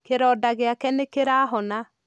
Kĩronda gĩake nĩ kĩrahona.